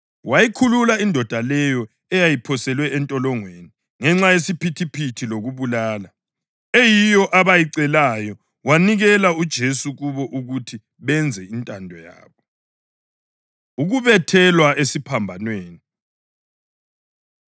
Wayikhulula indoda leyo eyayiphoselwe entolongweni ngenxa yesiphithiphithi lokubulala, eyiyo abayicelayo, wanikela uJesu kubo ukuthi benze intando yabo. Ukubethelwa Esiphambanweni